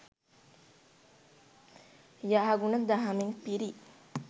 යහගුණ දහමින් පිරි